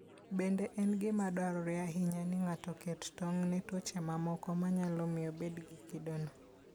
Bende en gima dwarore ahinya ni ng'ato oket tong' ne tuoche mamoko manyalo miyo obed gi kidono.